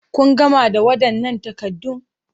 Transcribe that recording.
Kun gama da waɗannan takaddun?